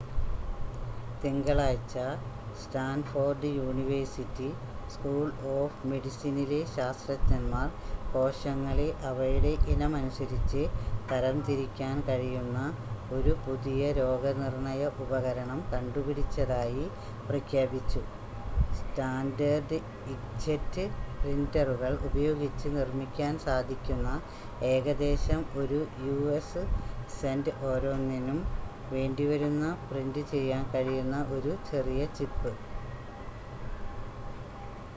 തിങ്കളാഴ്ച്ച Stanford university school of മെഡിസിനിലെ ശാസ്ത്രജ്ഞന്മാർ കോശങ്ങളെ അവയുടെ ഇനം അനുസരിച്ച് തരംതിരിക്കാൻ കഴിയുന്ന ഒരു പുതിയ രോഗനിർണയ ഉപകരണം കണ്ടുപിടിച്ചതായി പ്രഖ്യാപിച്ചു: സ്റ്റാൻഡേർഡ് ഇങ്ക്‌ജെറ്റ് പ്രിന്റ്ററുകൾ ഉപയോഗിച്ച് നിർമ്മിക്കാൻ സാധിക്കുന്ന ഏകദേശം ഒരു യു.എസ് സെന്റ് ഓരോന്നിനും വേണ്ടിവരുന്ന പ്രിന്റ് ചെയ്യാൻ കഴിയുന്ന ഒരു ചെറിയ ചിപ്പ്